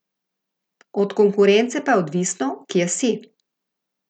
Od konkurence pa je odvisno, kje si.